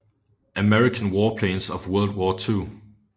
American Warplanes of World War II